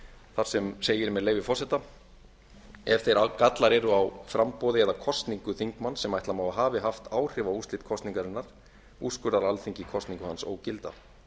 þar sem segir með leyfi forseta ef þeir gallar eru á framboði eða kosningu þingmanns sem ætla má að hafi haft áhrif á úrslit kosningarinnar úrskurðar alþingi kosningu hans ógilda